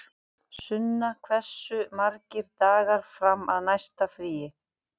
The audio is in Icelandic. Sunna, hversu margir dagar fram að næsta fríi?